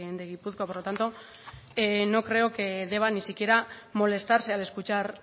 de gipuzkoa por lo tanto no creo que deba ni siquiera molestarse al escuchar